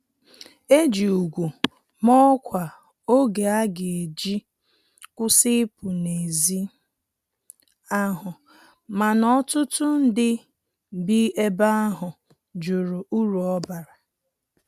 Eji úgwù ma ọkwa oge aga eji kwụsị ipu na ezi ahụ, mana ọtụtụ ndị bi ebe ahụ jụrụ uru ọbara